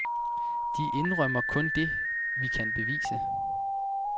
De indrømmer kun det, vi kan bevise.